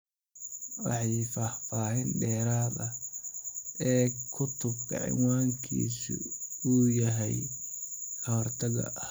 Wixii macluumaad dheeraad ah, eeg cutubka cinwaankiisu yahay Ka-hortagga.